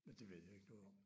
Men det ved jeg ikke noget om